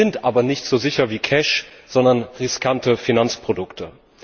Sie sind aber nicht so sicher wie Cash, sondern riskante Finanzprodukte.